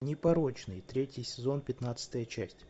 непорочный третий сезон пятнадцатая часть